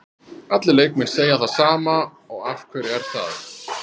Allir leikmenn segja það sama og af hverju er það?